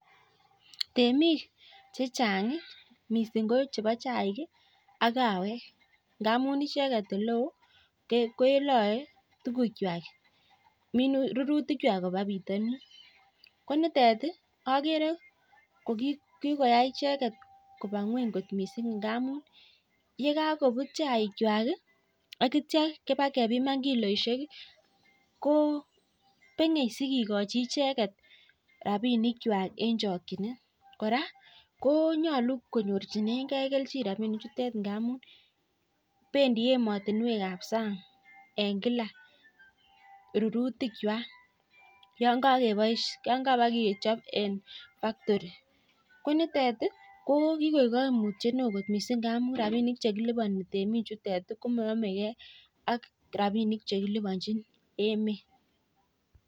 Temik chechang mising kochebo chaik ak kawek ngab amun icheket oleon kelae tuguk chwak rururtik chwak Koba bitanin konitet agere jokikoyai icheket Koba ngweny kot mising ngamun yekakobut chaik chwak akitya keba kebimani kiloishek kobenge sikikochi icheket rabinik chwak en chakinet koraa konyalu konyorchigei kelchin rabinik chutet ngamun bendi ematunwek ab sang en kila rururtik chwak yangakechob en factori konitet kokikoik kaimutiet neon kot mising ngamun rabinik chekelubani temik Chet komayame gei ak rabinik chekilubanchin emet